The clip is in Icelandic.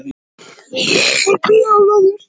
Reykjavíkur, sem hann var fæddur til, og henti gaman að.